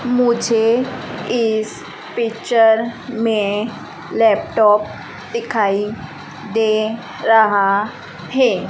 मुझे इस पिक्चर में लैपटॉप दिखाई दे रहा है।